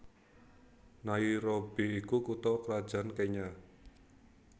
Nairobi iku kutha krajan Kenya